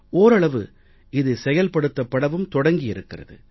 ஓரளவு இது செயல்படுத்தப்படவும் தொடங்கி இருக்கிறது